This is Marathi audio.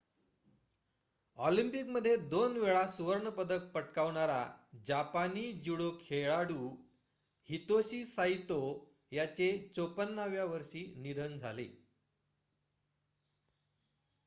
ऑलिम्पिकमध्ये दोनवेळा सुवर्ण पदक पटकावणारा जपानी ज्युडो खेळाडू हितोशी साइतो याचे ५४ व्या वर्षी निधन झाले